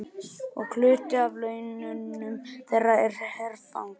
Og hluti af launum þeirra er herfang.